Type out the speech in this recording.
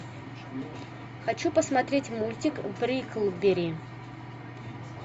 хочу посмотреть мультик бриклберри